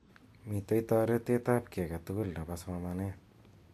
Mitei toretet ab ki age tugul nebo somanet.